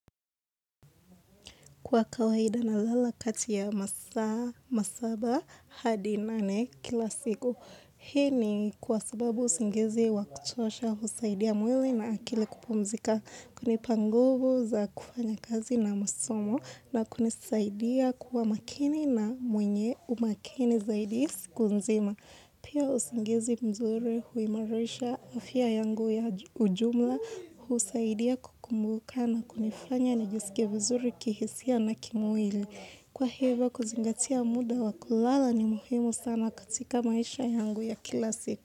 Kwa kawaida nalala kati ya masaa masaba hadi nane kila siku. Hii ni kwa sababu usingizi wa kutosha, husaidia mwili na akili kupumzika. Kunipa nguvu za kufanya kazi na masomo na kunisaidia kuwa makini na mwenye umakini zaidi siku nzima. Pia usingizi mzuri huimarisha afya yangu ya ujumla, husaidia kukumbuka na kunifanya nijisike vizuri kihisia na kimuwili. Kwa hivyo kuzingatia muda wa kulala ni muhimu sana katika maisha yangu ya kila siku.